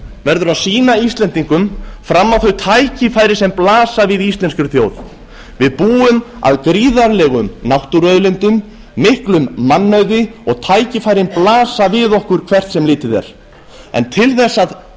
verður að sýna íslendingum fram á þau tækifæri sem blasa við íslenskri þjóð við búum að gríðarlegum náttúruauðlindum miklum mannauði og tækifærin blasa við okkur hvert sem litið er en til þess að